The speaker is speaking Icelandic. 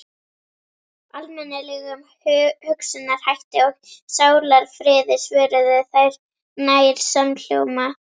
Almennilegum hugsunarhætti og sálarfriði, svöruðu þau nær samhljóma.